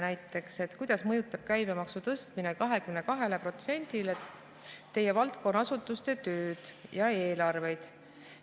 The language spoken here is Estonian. Näiteks, kuidas mõjutab käibemaksu tõstmine 22%-le teie valdkonna asutuste tööd ja eelarvet?